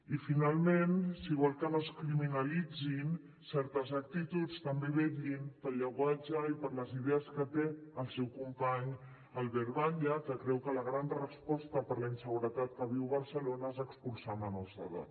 i finalment si vol que no es criminalitzin certes actituds també vetllin pel llenguatge i per les idees que té el seu company albert batlle que creu que la gran resposta per a la inseguretat que viu barcelona és expulsar menors d’edat